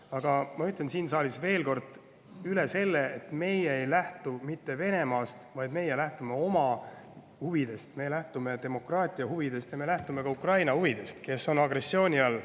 Aga ma ütlen siin saalis veel kord seda, et meie ei lähtu mitte Venemaast, vaid me lähtume oma huvidest, me lähtume demokraatia huvidest ja me lähtume ka huvidest, mis on Ukrainal, kes on agressiooni all.